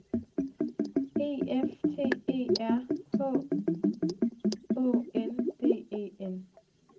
E F T E R H Å N D E N